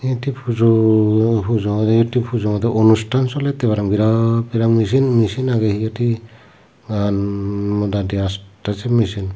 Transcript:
iyot hi pujo pujo oi tey pujo dw anusthan solettey paraang birat birat michin michin agey iyot hi nan sei michin